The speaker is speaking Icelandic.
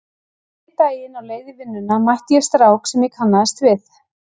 Einn daginn á leið í vinnuna mætti ég strák sem ég kannaðist við.